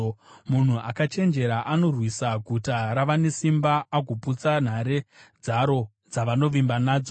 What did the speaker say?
Munhu akachenjera anorwisa guta ravane simba agoputsa nhare dzaro dzavanovimba nadzo.